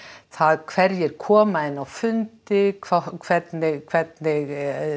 það hverjir koma inn á fundi hvernig hvernig